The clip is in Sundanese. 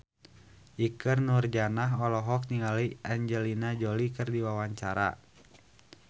Ikke Nurjanah olohok ningali Angelina Jolie keur diwawancara